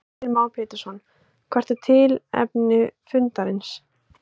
Heimir Már Pétursson: Hvert er tilefni fundarins?